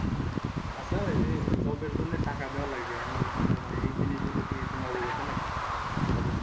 আচ্ছা এই যে job জন্য এই যে টাকা দেওয়া লাগে এমন কোনো মানে এই জিনিসগুলো কি তুমি অবগত নাকি?